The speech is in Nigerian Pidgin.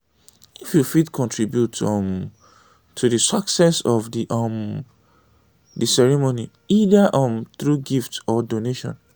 if you fit contribute um to di success of um di ceremony either um through gift or donation